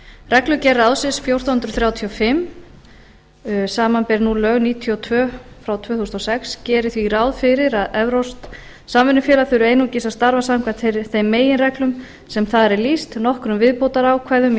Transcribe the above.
reglugerð ráðsins fjórtán hundruð þrjátíu og fimm samanber nú lög númer níutíu og tvö tvö þúsund og sex gerir því ráð fyrir að evrópskt samvinnufélag þurfi einungis að starfa samkvæmt þeim meginreglum sem þar er lýst nokkrum viðbótarákvæðum í